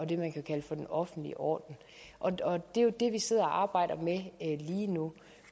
det man kunne kalde for den offentlige orden det er det vi sidder og arbejder med lige nu